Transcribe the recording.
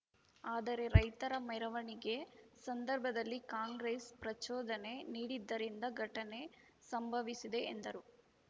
ಆದರೆ ರೈತರ ಮೆರವಣಿಗೆ ಸಂದರ್ಭದಲ್ಲಿ ಕಾಂಗ್ರೆಸ್‌ ಪ್ರಚೋದನೆ ನೀಡಿದ್ದರಿಂದ ಘಟನೆ ಸಂಭವಿಸಿದೆ ಎಂದರು